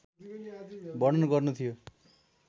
वर्णन गर्नु थियो